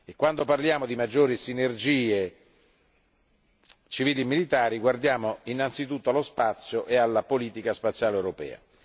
Quando parliamo di maggiori sinergie civili e militari ci riferiamo anzitutto allo spazio e alla politica spaziale europea.